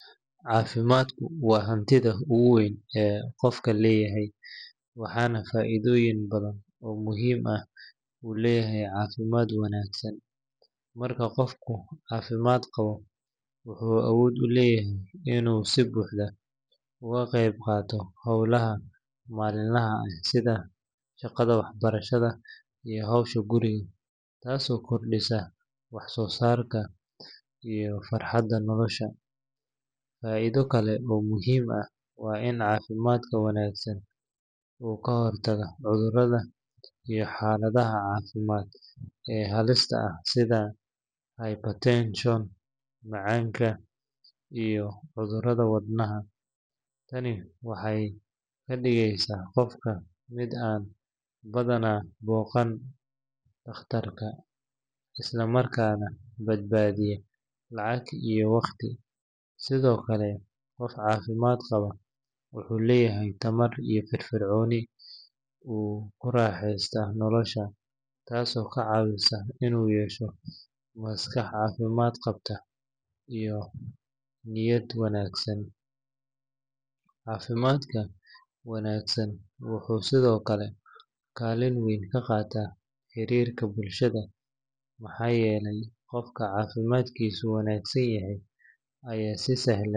Caafimaadku waa hantida ugu weyn ee qofka leeyahay, waxaana faa’iidooyin badan oo muhiim ah uu leeyahay caafimaad wanaagsan. Marka qofku caafimaad qabo, wuxuu awood u leeyahay inuu si buuxda uga qeyb qaato hawlaha maalinlaha ah, sida shaqada, waxbarashada, iyo howsha guriga, taasoo kordhisa wax soo saarka iyo farxadda nolosha. Faa’iido kale oo muhiim ah waa in caafimaadka wanaagsan uu ka hortagaa cudurrada iyo xaaladaha caafimaad ee halista ah, sida hypertension, macaanka, iyo cudurrada wadnaha. Tani waxay ka dhigeysaa qofka mid aan badanaa booqan dhakhtarka, isla markaana badbaadiya lacag iyo waqti. Sidoo kale, qof caafimaad qaba wuxuu leeyahay tamar iyo firfircooni uu ku raaxeysto nolosha, taasoo ka caawisa inuu yeesho maskax caafimaad qabta iyo niyad wanaagsan. Caafimaadka wanaagsan wuxuu sidoo kale kaalin weyn ka qaataa xiriirka bulshada, maxaa yeelay qofka caafimaadkiisu wanaagsan yahay ayaa si sahlan.